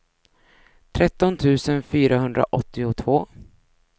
tretton tusen fyrahundraåttiotvå